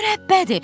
Mürəbbədir.